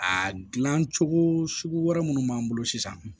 A dilan cogo sugu wɛrɛ minnu b'an bolo sisan